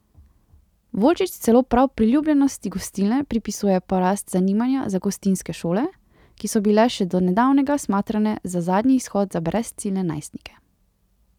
Volčič celo prav priljubljenosti Gostilne pripisuje porast zanimanja za gostinske šole, ki so bile še do nedavnega smatrane za zadnji izhod za brezciljne najstnike.